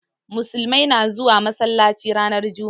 Musulmai na zuwa masalaci ranar juma'a.